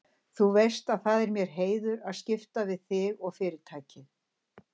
Þú veist að það er mér heiður að skipta við þig og Fyrirtækið.